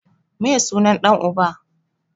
Meye sunan ɗan uba?